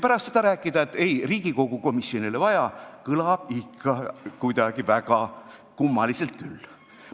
Pärast seda rääkida, et ei, Riigikogu komisjoni ei ole vaja, kõlab ikka kuidagi väga kummaliselt küll.